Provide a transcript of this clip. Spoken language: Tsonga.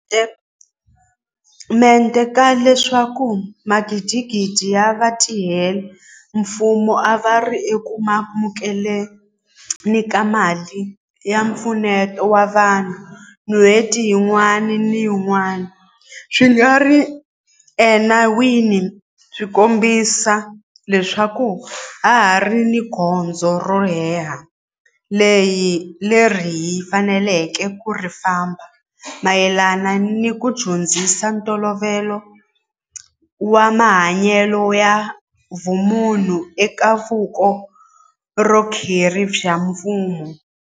mente ka leswaku magidigidi ya vatirhela mfumo a va ri eku amukele ni ka mali ya mpfuneto wa vanhu n'hweti yin'wana ni yin'wana swi nga ri ena wini swi kombisa leswaku ha ha ri ni gondzo ro leha leri hi faneleke ku ri famba mayelana ni ku dyondzisa ntolovelo wa mahanyelo ya vumunhu eka vuko rhokeri bya mfumo.